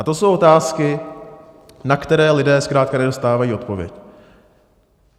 A to jsou otázky, na které lidé zkrátka nedostávají odpověď.